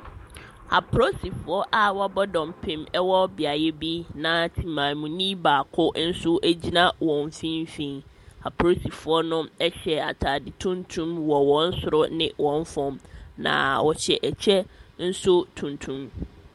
Apolisifoɔ a wɔabɔ dɔmpem wɔ beaeɛ bi, na temamu ni baako nso gyina wɔn mfimfini. Apolisifoɔ no hyɛ atade tuntum wɔ wɔn soro ne wɔn fam. Naaa wɔhyɛ ɛkyɛ nso tuntum.